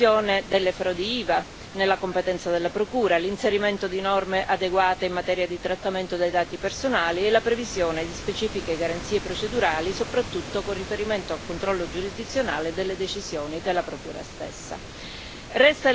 Fra questi, l'inclusione delle frodi IVA nella competenza della Procura, l'inserimento di norme adeguate in materia di trattamento dei dati personali e la previsione di specifiche garanzie procedurali, soprattutto con riferimento al controllo giurisdizionale delle decisioni della Procura stessa.